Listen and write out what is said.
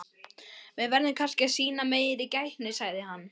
Við verðum kannski að sýna meiri gætni sagði hann.